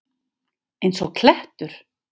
Eins og klettur!